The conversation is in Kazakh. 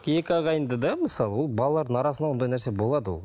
екі ағайынды да мысалы ол балалардың арасында ондай нәрсе болады ол